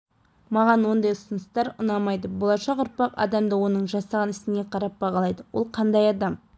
маған ондай ұсыныстар ұнамайды болашақ ұрпақ адамды оның жасаған ісіне қарап бағалайды ол қандай адам